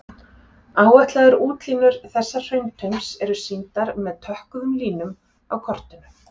Áætlaðar útlínur þessa hrauntaums eru sýndar með tökkuðum línum á kortinu.